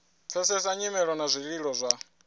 pfesesa nyimelo na zwililo zwa